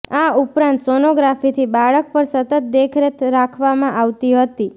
આ ઉપરાંત સોનોગ્રાફીથી બાળક પર સતત દેખરેખ રાખવામાં આવતી હતી